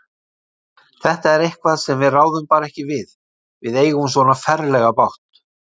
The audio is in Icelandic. Þetta er eitthvað sem við ráðum bara ekki við. við eigum svona ferlega bágt.